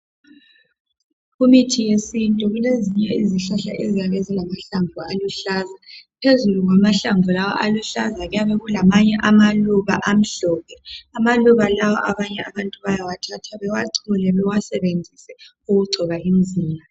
Kumithi yesintu kulezinye izihlahla eziyabe zilamahlamvu aluhlaza. Phezu kwamahlamvu lawa aluhlaza kuyabe kulamanye amaluba amhlophe . Amaluba lawa abanye abantu bayawathatha bawachole bawasebenzise ukugcoba imzimba.